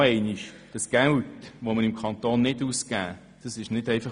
Nochmals: Das Geld, welches der Kanton nicht ausgibt, verschwindet nicht einfach.